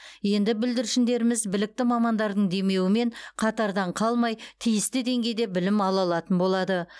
енді бүлдіршіндеріміз білікті мамандардың демеуімен қатардан қалмай тиісті деңгейде білім ала алатын болады